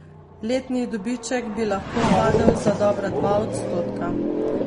Letni dobiček bi lahko padel za dobra dva odstotka.